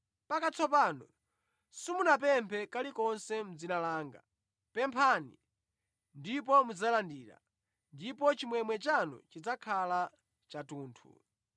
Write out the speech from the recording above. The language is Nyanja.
Mpaka tsopano simunapemphe kalikonse mʼdzina langa. Pemphani ndipo mudzalandira, ndipo chimwemwe chanu chidzakhala chathunthu.